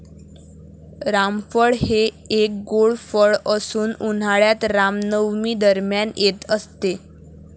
रामफळ हे एक गोड फळ असून उन्हाळ्यात रामनवमी दरम्यान येत असते.